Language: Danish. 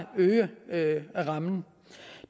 at øge rammen